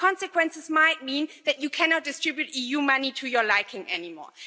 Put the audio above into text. And the consequences might mean that you cannot distribute EU money to your liking anymore.